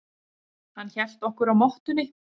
Hann hélt okkur á mottunni.